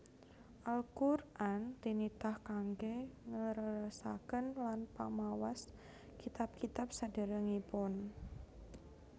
Al Qur an tinitah kangge ngleresaken lan pamawas kitab kitab saderengipun